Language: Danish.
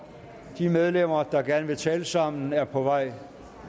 de medlemmer der gerne vil tale sammen er på vej